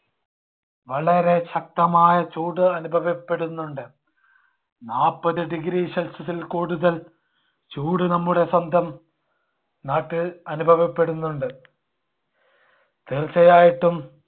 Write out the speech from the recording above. വളരെ ശക്തമായ ചൂട് അനുഭവപ്പെടുന്നുണ്ട്. നാപ്പതു degree celsius ൽ കൂടുതൽ ചൂട് നമ്മുടെ സ്വന്തം നാട്ടിൽ അനുഭവപ്പെടുന്നുണ്ട്. തീർച്ചയായിട്ടും